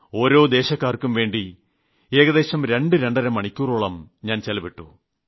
ഓരോ ദേശക്കാർക്കുംവേണ്ടി ഏകദേശം രണ്ട് രണ്ടര മണിക്കൂറോളം ഞാൻ ചിലവിട്ടു